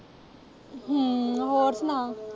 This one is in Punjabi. ਹਮ ਹੋਰ ਸੁਣਾ।